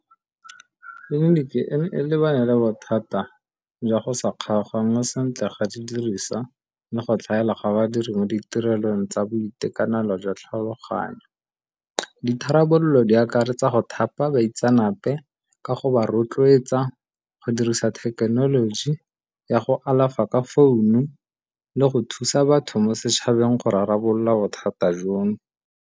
Tleliniki e ne e lebane le bothata jwa go sa kgaoganngwe sentle ga di diriswa le go tlhaela ga badiri mo ditirelong tsa boitekanelo jwa tlhaloganyo. Ditharabololo di akaretsa go thapa baitsenape ka go ba rotloetsa go dirisa thekenoloji ya go alafa ka founu le go thusa batho mo setšhabeng go rarabolola bothata jono.